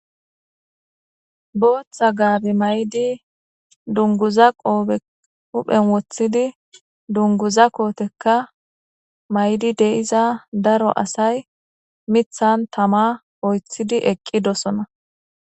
Botha gabe mayidi dunguza qobbe hupheni wothidi dunguza kotekka mayidi diza darro assayi mithani tama oyithidi eqidosona